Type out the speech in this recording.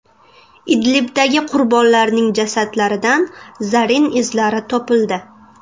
Idlibdagi qurbonlarning jasadlaridan zarin izlari topildi.